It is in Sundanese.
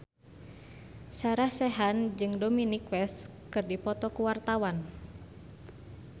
Sarah Sechan jeung Dominic West keur dipoto ku wartawan